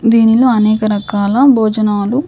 దీనిలో అనేక రకాల భోజనాలు--